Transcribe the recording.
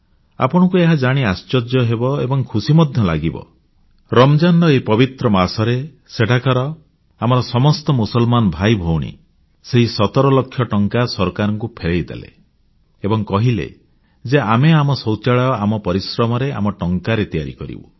ଆପଣଙ୍କୁ ଏହା ଜାଣି ଆଶ୍ଚର୍ଯ୍ୟ ହେବ ଏବଂ ଖୁସି ମଧ୍ୟ ଲାଗିବ ରମଜାନ୍ ର ଏହି ପବିତ୍ର ମାସରେ ସେଠାକାର ଆମର ସମସ୍ତ ମୁସଲମାନ ଭାଇଭଉଣୀ ସେହି 17 ଲକ୍ଷ ଟଙ୍କା ସରକାରଙ୍କୁ ଫେରାଇ ଦେଲେ ଏବଂ କହିଲେ ଯେ ଆମେ ଆମ ଶୌଚାଳୟ ଆମ ପରିଶ୍ରମରେ ଆମ ଟଙ୍କାରେ ତିଆରି କରିବୁ